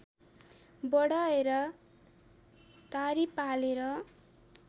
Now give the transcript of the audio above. बढाएर दाह्री पालेर